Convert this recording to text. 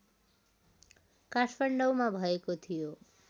काठमाडौँमा भएको थियो